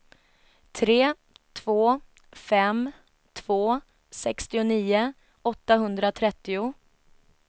tre två fem två sextionio åttahundratrettio